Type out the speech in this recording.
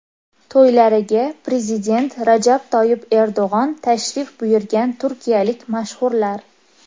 To‘ylariga prezident Rajab Toyyib Erdo‘g‘on tashrif buyurgan turkiyalik mashhurlar .